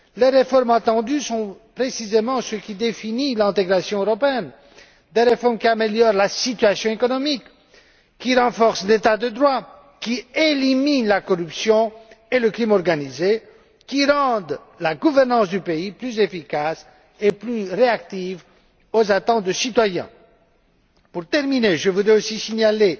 Les réformes attendues sont précisément ce qui définit l'intégration européenne des réformes qui améliorent la situation économique, qui renforcent l'état de droit, qui éliminent la corruption et la criminalité organisée et qui rendent la gouvernance du pays plus efficace et plus réactive aux attentes des citoyens. Pour terminer, je voudrais aussi signaler